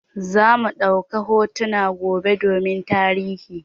Zamu ɗauka hotuna gobe domin tarihi.